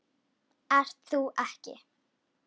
Ert þú ekki